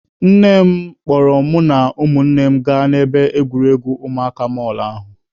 Nne m kpọrọ mụ na ụmụnne m gaa n'ebe egwuregwu ụmụaka mall ahụ.